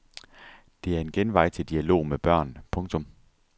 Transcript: Det er en genvej til dialog med børn. punktum